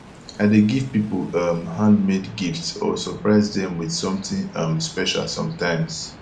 i dey give people um handmade gifts or surprise dem with something um special sometimes